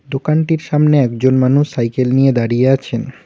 দোকানটির সামনে একজন মানুষ সাইকেল নিয়ে দাঁড়িয়ে আছেন।